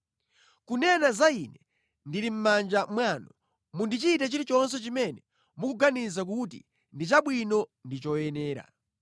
Kunena za ine, ndili mʼmanja mwanu; mundichite chilichonse chimene mukuganiza kuti ndi chabwino ndi choyenera.